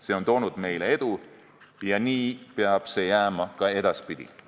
See on toonud meile edu ja nii peab see jääma ka edaspidi.